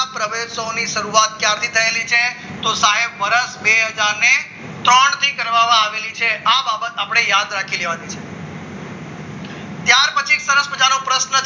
શાળા પ્રવેશોની શરૂઆત ક્યાંથી થયેલી છે તો સાહેબ વરસ બે હજાર ને ત્રણ થી કરવામાં આવેલી છે આ બાબત આપણને યાદ રાખી લેવાની ત્યાર પછી સરસ મજાનો પ્રશ્ન